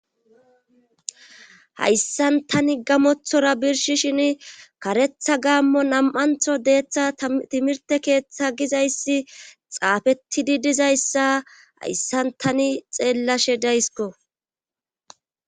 Hayssan tani gamothora birshi shin karetha gaammo nam7antho deeththa timirte keeththa gizayssi xaafetidi dizayssa hayssan tani xeellashe daysko.